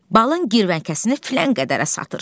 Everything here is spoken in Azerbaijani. Balın girvəngəsini filan qədərə satır.